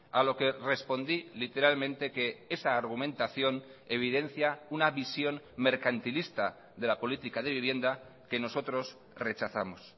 a lo que respondí literalmente que esa argumentación evidencia una visión mercantilista de la política de vivienda que nosotros rechazamos